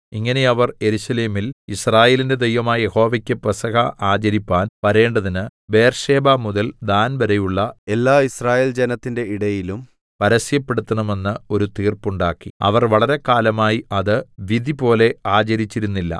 ഇങ്ങനെ അവർ യെരൂശലേമിൽ യിസ്രായേലിന്റെ ദൈവമായ യഹോവയ്ക്ക് പെസഹ ആചരിപ്പാൻ വരേണ്ടതിന് ബേർശേബമുതൽ ദാൻവരെയുള്ള എല്ലായിസ്രായേൽജനത്തിന്റെ ഇടയിലും പരസ്യപ്പെടുത്തണമെന്ന് ഒരു തീർപ്പുണ്ടാക്കി അവർ വളരെക്കാലമായി അത് വിധിപോലെ ആചരിച്ചിരുന്നില്ല